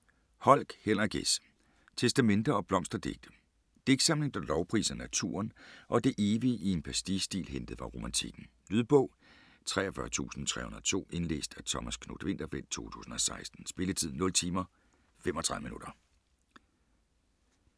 Holck, Henrik S.: Testamente & blomsterdigte Digtsamling der lovpriser naturen og det evige i en pastiche-stil hentet fra Romantikken. Lydbog 43302 Indlæst af Thomas Knuth-Winterfeldt, 2016. Spilletid: 0 timer, 35 minutter.